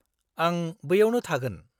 आं बैयावनो थागोन।